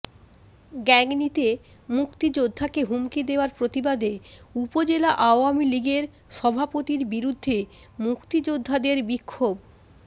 গাংনীতে মুক্তিযোদ্ধাকে হুমকি দেওয়ার প্রতিবাদে উপজেলা আওয়ামীলীগের সভাপতির বিরুদ্ধে মুক্তিযোদ্ধাদের বিক্ষোভ